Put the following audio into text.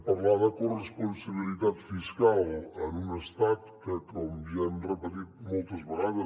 parlar de corresponsabilitat fiscal en un estat que com ja hem repetit moltes vegades